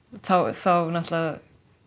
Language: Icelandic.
þá þá náttúrulega